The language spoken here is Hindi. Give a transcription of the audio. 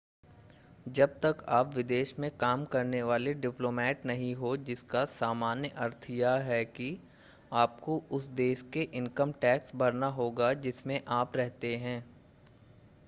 जब तक आप विदेश में काम करने वाले डिप्लोमेट नहीं हों जिसका सामान्य अर्थ यह है कि आपको उस देश में इनकम टैक्स भरना होगा जिसमें आप रहते हैं